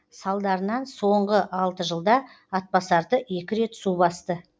салдарынан соңғы алты жылда атбасарды екі рет су басты